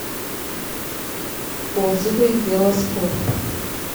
отзывы вело спорт